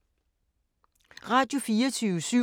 Radio24syv